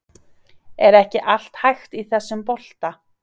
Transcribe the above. Er ekki allt hægt í þessum bolta?